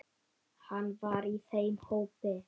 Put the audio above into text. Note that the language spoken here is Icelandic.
Hann var í þeim hópi.